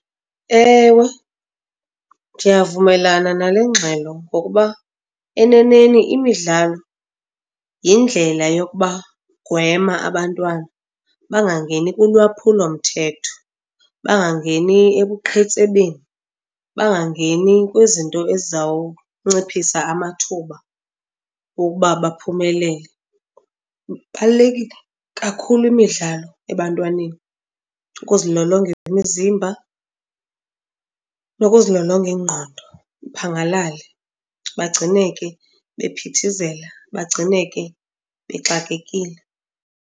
Ewe, ndiyavumelana nale ngxelo ngokuba eneneni imidlalo yindlela yokubagwema abantwana bangangeni kulwaphulomthetho, bangangeni ebuqhetsebeni, bangangeni kwizinto ezizawunciphisa amathuba wokuba baphumelele. Ibalulekile kakhulu imidlalo ebantwaneni, ukuzilolonga imizimba nokuzilolonga ingqondo, iphangalale, bagcineke bephithizela, bagcineke bexakekile.